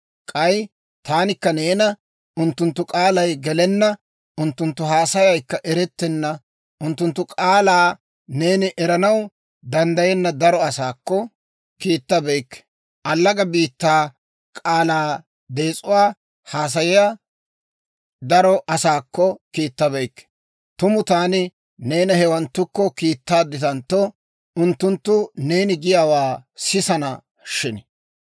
K'ay taanikka neena unttunttu k'aalay gelenna, unttunttu haasayaykka eretenna unttunttu k'aalaa neeni eranaw danddayenna daro asaakko kiittabeykke allaga biittaa k'aalaa dees'uwaa haasayiyaa daro asaakko kiittabeykke. Tumu taani neena hewanttukko kiittaadditantto, unttunttu neeni giyaawaa sisana shin!